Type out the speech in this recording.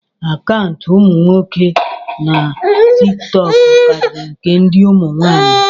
akaụntụ umu nwoke na tikitoku kariri nke ndi umu nwaanyi